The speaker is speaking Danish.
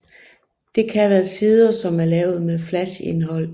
Det kan være sider som er lavet med flash indhold